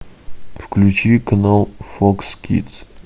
включи канал фокс кидс